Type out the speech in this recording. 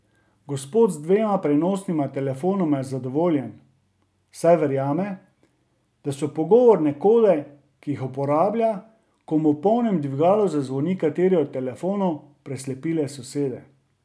Gospod z dvema prenosnima telefonoma je zadovoljen, saj verjame, da so pogovorne kode, ki jih uporablja, ko mu v polnem dvigalu zazvoni kateri od telefonov, preslepile sosede.